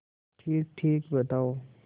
ठीकठीक बताओ